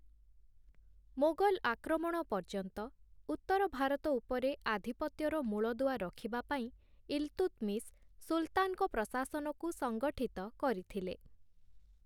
ମୋଗଲ୍ ଆକ୍ରମଣ ପର୍ଯ୍ୟନ୍ତ, ଉତ୍ତର ଭାରତ ଉପରେ ଆଧିପତ୍ୟର ମୂଳଦୁଆ ରଖିବାପାଇଁ ଇଲତୁତମିଶ୍‌ ସୁଲତାନ୍‌ଙ୍କ ପ୍ରଶାସନକୁ ସଙ୍ଗଠିତ କରିଥିଲେ ।